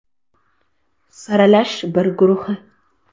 Saralash “I” guruhi.